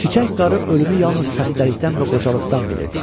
Çiçək qarı ölümü yalnız xəstəlikdən və qocalıqdan bilirdi.